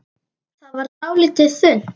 Það varð dálítið þunnt.